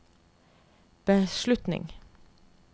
beslutning